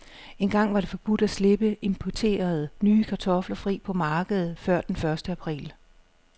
Engang var det forbudt at slippe importerede, nye kartofler fri på markedet før den første april.